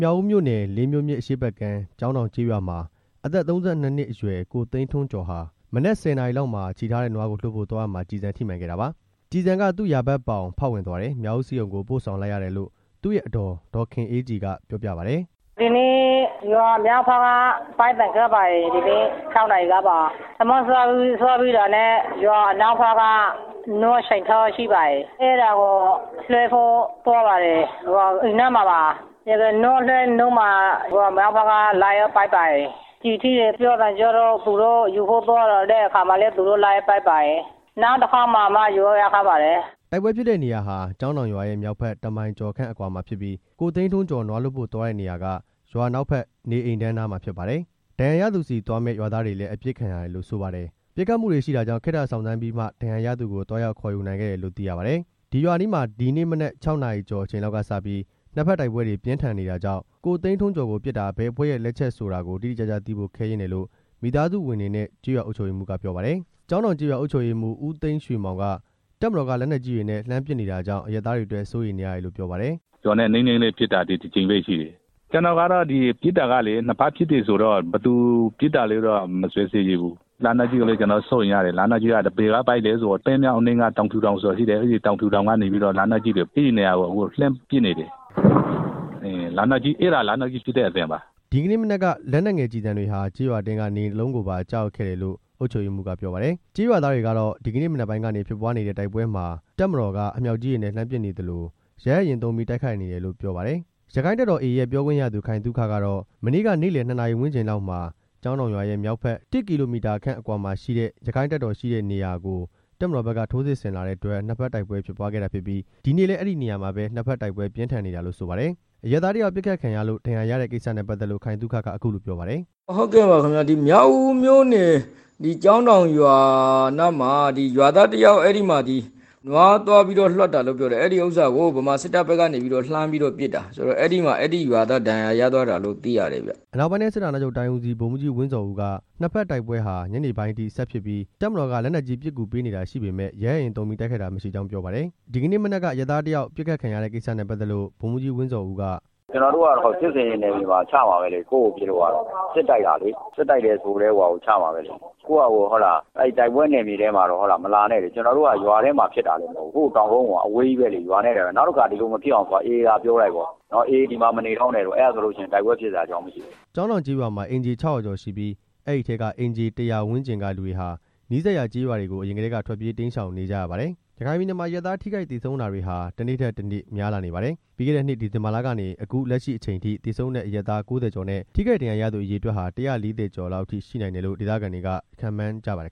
မြောက်ဦးမြို့နယ် လေးမြို့မြစ်အရှေ့ဘက်ကမ်း ကျောင်းတောင်ကျေးရွာမှာ အသက် ၃၂ နှစ်အရွယ် ကိုသိန်းထွန်းကျော်ဟာ မနက် ၁၀ နာရီလောက်မှာ ချည်ထားတဲ့နွားကိုလွှတ်ဖို့ သွားရာမှာ ကျည်ဆန်ထိမှန်ခဲ့တာပါ။ ကျည်ဆန်က သူ့ယာဘက်ပေါင် ဖောက်ဝင်သွားတယ်၊ မြောက်ဦးဆေးရုံကို ပို့ဆောင်လိုက်ရတယ်လို့ သူ့ရဲ့ အဒေါ် ဒေါ်ခင်အေးကြည်က ပြောပြပါတယ်။ “ဒီနေ့ ရွာမြောက်ဘက်က ပစ်သံကြားပါတယ်။ မနက် ၆ နာရီလောက်ကပါ။ မနက်ထမင်းစားပြီးတာနဲ့ ရွာအနောက်ဘက်မှာ ချည်ထားတဲ့နွားကို လွှတ်ဖို့သွားပါတယ်။ အိမ်တွေနားမှာပါ။ နွားလွှတ်နေတုန်းမှာ ရွာမြောက်ဘက်ကနေ လှမ်းပစ်ပါတယ်။ ကျည်ထိလို့ ရွာသားတွေသွားယူဖို့လုပ်တဲ့အခါမှာလည်း လိုက်ပြီးတော့ပစ်ပါတယ်။ နောက်တစ်ကြိမ်သွားမှ ယူလို့ရခဲ့တာပါ” တိုက်ပွဲဖြစ်တဲ့နေရာဟာ ကျောင်းတောင်ရွာရဲ့မြောက်ဘက် တစ်မိုင်ကျော်ခန့်အကွာမှာဖြစ်ပြီး ကိုသိန်းထွန်းကျော် နွားလွှတ်ဖို့ သွားတဲ့နေရာက ရွာအနောက်ဘက် နေအိမ်တန်းနားမှာဖြစ်ပါတယ်။ ဒဏ်ရာရသူဆီသွားမယ့် ရွာသားတွေလည်း အပစ်ခံရတယ်လို့ ဆိုပါတယ်။ ပစ်ခတ်မှုတွေရှိတာကြောင့် ခေတ္တစောင့်ဆိုင်းပြီးမှ ဒဏ်ရာရသူကို သွားရောက်ခေါ်ယူနိုင်ခဲ့တယ်လို့ သိရပါတယ်။ ရွာအနီးမှာ ဒီနေ့မနက် ၆ နာရီကျော်အချိန်လောက်ကစပြီး နှစ်ဘက်တိုက်ပွဲတွေ ပြင်းထန်နေတာကြောင့် ကိုသိန်းထွန်းကျော်ကို ပစ်တာ ဘယ်အဖွဲ့ရဲ့ လက်ချက်ဆိုတာကို တိတိကျကျသိဖို့ ခဲယဉ်းတယ်လို့ မိသားစုဝင်တွေနဲ့ ကျေးရွာအုပ်ချုပ်ရေးမှူးက ပြောပါတယ်။ ကျောင်းတောင်ကျေးရွာအုပ်ချုပ်ရေးမှူး ဦးသိန်းရွှေမောင်က တပ်မတော်က လက်နက်ကြီးတွေနဲ့ လှမ်းပစ်နေတာကြောင့် အရပ်သားတွေအတွက် စိုးရိမ်နေရတယ်လို့ ပြောပါတယ်။ “ရွာနဲ့နီးနီးလေးမှာဖြစ်တာ ဒီတစ်ကြိမ်ပဲရှိတယ်။ အခုက နှစ်ဘက်ပစ်ခတ်နေကြတာဆိုတော့ ကျွန်တော်ကတော့ အခုလိုပစ်တာကို ဘယ်သူပစ်တယ်ဆိုတာကို မစွပ်စွဲရဲဘူး။ ရွာမှာလည်း စိုးရိမ်ရတယ်။ လက်နက်ကြီးတွေက ပန်းမြောင်းရွာအနီး တောင်ဖြူတောင်ကနေ လက်နက်ကြီးတွေနဲ့ လှမ်းပစ်နေတယ်။ လက်နက်ကြီးက အခုလည်းပစ်နေတုန်းပါ” ဒီနေ့မနက်က လက်နက်ငယ်ကျည်တွေဟာ ကျေးရွာအတွင်းက နေအိမ်တစ်လုံးကိုပါ ကျရောက်ခဲ့တယ်လို့ အုပ်ချုပ်ရေးမှူးက ပြောပါတယ်။ ကျေးရွာသားတွေကတော့ ဒီနေ့မနက်ပိုင်းကနေဖြစ်ပွားနေတဲ့ တိုက်ပွဲမှာ တပ်မတော်က အမြောက်ကြီးတွေနဲ့ လှမ်းပစ်နေသလို ရဟတ်ယာဉ်သုံးပြီး တိုက်ခိုက်နေတယ်လို့ပြောပါတယ်။ ရက္ခိုင့်တပ်တော်(AA)ရဲ့ ပြောခွင့်ရသူ ခိုင်သုခကတော့ မနေ့က နေ့လယ် နှစ်နာရီဝန်းကျင်လောက်မှာ ကျောင်းတောင်ရွာရဲ့ မြောက်ဘက် တစ်ကီလိုမီတာခန့်အကွာမှာရှိတဲ့ ရက္ခိုင့်တပ်တော်ရှိတဲ့နေရာကို တပ်မတော်ဘက်က ထိုးစစ်ဆင်လာတဲ့အတွက် နှစ်ဘက်တိုက်ပွဲဖြစ်ပွားခဲ့ပြီး ဒီနေ့လည်း အဲဒီနေရာမှာပဲ နှစ်ဘက်တိုက်ပွဲပြင်းထန်နေတာလို့ ဆိုပါတယ်။ အရပ်သားတစ်ယောက်ပစ်ခတ်ခံရလို့ ဒဏ်ရာရတဲ့ကိစ္စနဲ့ပတ်သက်လို့ ခိုင်သုခက အခုလိုပြောပါတယ်။ “မြောက်ဦးမြို့နယ် ကျောင်းတောင်ရွာနားမှာ ရွာသားတစ်ယောက် နွားသွားလွှတ်တာကို ဗမာစစ်တပ်ဘက်က နေပြီးတော့ လှမ်းပြီးတော့ပစ်တာ အဲဒီရွာသားဒဏ်ရာရသွားတာလို့ သိရတယ်ဗျ” အနောက်ပိုင်းတိုင်းစစ်ဌာနချုပ်တိုင်းဦးစီး ဗိုလ်မှူးကြီး ဝင်းဇော်ဦးက နှစ်ဘက်တိုက်ပွဲဟာ ညနေပိုင်းအထိ ဆက်ဖြစ်ပြီး တပ်မတော်က လက်နက်ကြီးပစ်ကူပေးနေတာ ရှိပေမယ့် ရဟတ်ယာဉ်သုံးပြီး တိုက်ခိုက်တာ မရှိကြောင်း ပြောပါတယ်။ ဒီနေ့မနက်က အရပ်သားတစ်ဦး ပစ်ခတ်ခံရတဲ့ကိစ္စနဲ့ ပတ်သက်လို့ ဗိုလ်မှူးကြီး ဝင်းဇော်ဦးက - “ကျွန်တော်တို့ကတော့စစ်ဆင်ရေးနယ်မြေမှာ ချမှာပဲလေ ကိုယ့်ကိုပစ်လို့ကတော့။ အခုကစစ်တိုက်တာလေ။ စစ်တိုက်တယ်ဆိုကတည်းက ချမှာပဲလေ။ ကိုယ့်ဟာကိုယ် အဲဒီတိုက်ပွဲနယ်မြေထဲမှာတော့ မလာနဲ့လေ။ ကျွန်တော်တို့က ရွာထဲမှာဖြစ်တာလည်းမဟုတ်ဘူး။ ရွာနဲ့အဝေးကြီးမှာဖြစ်တာ။ နောက်တစ်ခါ ဒီလိုမဖြစ်အောင် အေအေကိုပြောလိုက်ပါ အေအေ ဒီမှာမနေတော့နဲ့လို့။ အဲလိုဆို တိုက်ပွဲဖြစ်စရာအကြောင်းလည်းမရှိဘူး” ကျောင်းတောင်ကျေးရွာမှာ အိမ်ခြေ ၆၀၀ ကျော်ရှိပြီး အဲဒီအထဲက အိမ်ခြေ ၁၀၀ ဝန်းကျင်ကလူတွေဟာ နီးစပ်ရာကျေးရွာတွေကို အရင်ကတည်းက ထွက်ပြေးတိမ်းရှောင်နေကြရပါတယ်။ ရခိုင်ပြည်နယ်မှာ အရပ်သား ထိခိုက်သေဆုံးတာတွေဟာ တစ်နေ့ထက်တစ်နေ့ များပြားလာနေပါတယ်။ ပြီးခဲ့တဲ့နှစ် ဒီဇင်ဘာလကနေ အခုလက်ရှိအချိန်အထိ သေဆုံးတဲ့ အရပ်သား ၉၀ ကျော်နဲ့ ထိခိုက်ဒဏ်ရာရသူ အရေအတွက်ဟာ ၁၄၀ ကျော်လောက်အထိ ရှိနိုင်တယ်လို့ ဒေသခံတွေက ခန့်မှန်းကြပါတယ်